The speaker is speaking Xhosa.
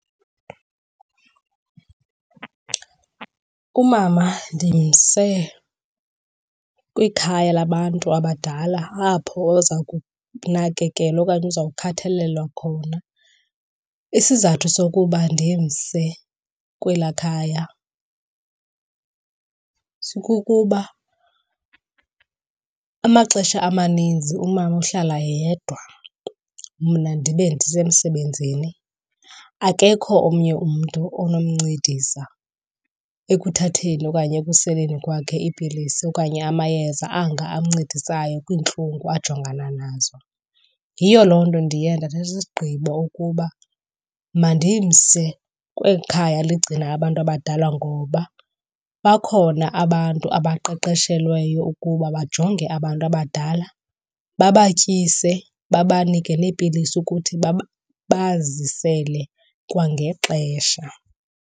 Umama ndimse kwikhaya labantu abadala apho oza kunakekelwa okanye uzawukhathalelwa khona. Isizathu sokuba ndimse kwelaa khaya sikukuba amaxesha amaninzi umama uhlala yedwa, mna ndibe ndisemsebenzini. Akekho omnye umntu onomncedisa ekuthatheni okanye ekuseleni kwakhe iipilisi okanye amayeza anga ancedisayo kwiintlungu ajongana nazo. Yiyo loo nto ndiye ndathatha isigqibo ukuba mandimse kweli khaya ligcina abantu abadala ngoba bakhona abantu abaqeqeshelweyo ukuba bajonge abantu abadala, babatyise babanike neepilisi ukuthi bazisele kwangexesha.